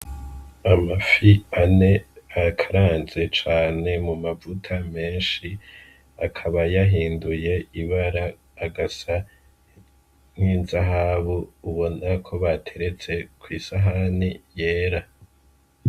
Amafi ane bakaranze cane mumavuta menshi, akaba yahinduye ibara agasa n'inzahabu ubona ko bateretse kw'isahani yera.